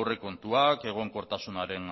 aurrekontuak egonkortasunaren